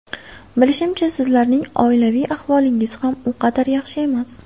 Bilishimcha, sizlarning oilaviy ahvolingiz ham u qadar yaxshi emas.